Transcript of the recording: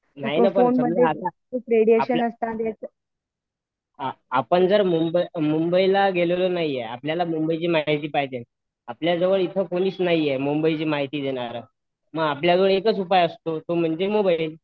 नाही ना पण आपण तर मुंबईला गेलोला नाहीय आपल्याला मुंबईची माहिती पाहिजे आपल्या जवळ ईथ कोणीच नाहीये मुंबईची माहिती देणार नाहीय आपल्या जवळ एकच उपाय असतो तो म्हणजे मोबाईल